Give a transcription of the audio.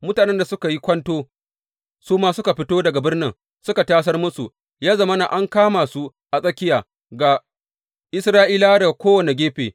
Mutanen da suka yi kwanto su ma suka fito daga birnin suka tasar musu, ya zama an kama su a tsakiya, ga Isra’ilawa daga kowane gefe.